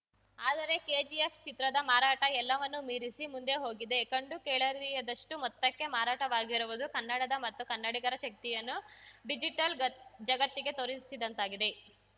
ಆದರೆ ಕೆಜಿಎಫ್‌ ಚಿತ್ರದ ಮಾರಾಟ ಎಲ್ಲವನ್ನೂ ಮೀರಿಸಿ ಮುಂದೆ ಹೋಗಿದೆ ಕಂಡುಕೇಳರಿಯದಷ್ಟುಮೊತ್ತಕ್ಕೆ ಮಾರಾಟವಾಗಿರುವುದು ಕನ್ನಡದ ಮತ್ತು ಕನ್ನಡಿಗರ ಶಕ್ತಿಯನ್ನು ಡಿಜಿಟಲ್‌ ಗತ್ ಜಗತ್ತಿಗೆ ತೋರಿಸಿದಂತಾಗಿದೆ